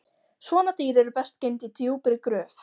Svona dýr eru best geymd í djúpri gröf